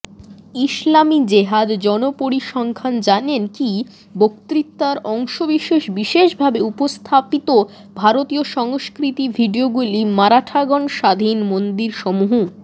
ইসলামী জেহাদ জনপরিসংখ্যান জানেন কি বক্তৃতার অংশবিশেষ বিশেষভাবে উপস্থাপিত ভারতীয় সংস্কৃতি ভিডিওগুলি মারাঠাগণ স্বাধীন মন্দিরসমূহ